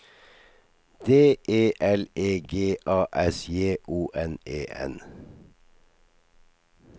D E L E G A S J O N E N